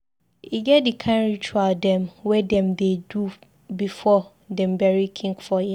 E get di kain ritual dem wey dem dey do before dem bury king for here.